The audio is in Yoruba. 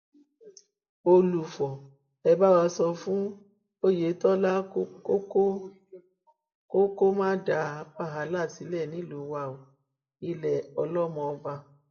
olùfo ẹ bá wa sọ fún oyetola kó kó má dá wàhálà sílẹ nílùú wa o ilẹ ọlọmọọba